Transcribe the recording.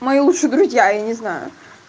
мои лучшие друзья я не знаю